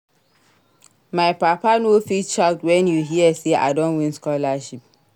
My papa no fit shout wen e hear sey I don win scholarship.